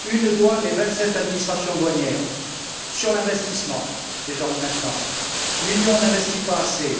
une douane et vingt sept administrations douanières. Sur l'investissement, maintenant l'Union n'investit pas assez.